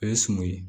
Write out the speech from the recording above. O ye suman ye